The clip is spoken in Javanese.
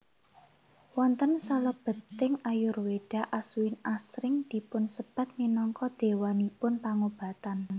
Wonten salebeting Ayurweda Aswin asring dipun sebat minangka déwanipun pangobatan